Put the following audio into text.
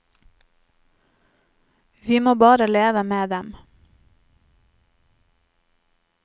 Vi må bare leve med dem.